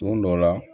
Don dɔ la